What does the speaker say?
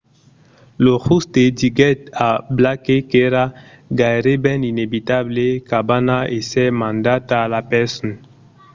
lo jutge diguèt a blake qu'èra gaireben inevitable qu'anava èsser mandat a la preson